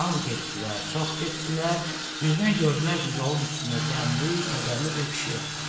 Az getdilər, çox getdilər, birdən gördülər ki, yolun üstündə qəmli, kədərli bir pişik oturub.